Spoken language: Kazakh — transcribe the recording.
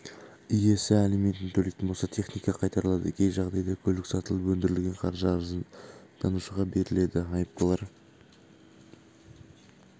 иесі алиментін төлейтін болса техника қайтарылады кей жағдайда көлік сатылып өндірілген қаржы арызданушыға беріледі айыптылар